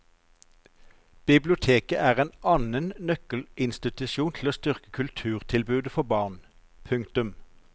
Biblioteket er en annen nøkkelinstitusjon til å styrke kulturtilbudet for barn. punktum